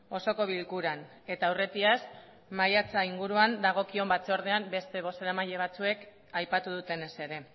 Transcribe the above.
osoko bilkuran eta aurretiaz maiatza inguruan dagokion batzordean beste bozeramaile batzuek aipatu dutenez ere